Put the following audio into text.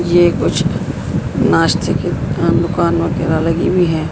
ये कुछ नास्ते की अं दुकान लगी हुई है।